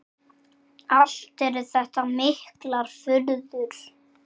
Allt eru þetta miklar furður.